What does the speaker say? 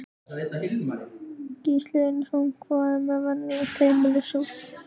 Gísli Einarsson: Hvað með venjulegt heimilissorp?